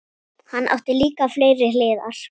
Hann átti líka fleiri hliðar.